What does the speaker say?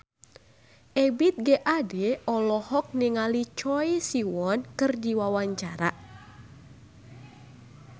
Ebith G. Ade olohok ningali Choi Siwon keur diwawancara